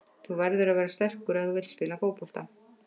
Þú verður að vera sterkur ef þú vilt spila fótbolta.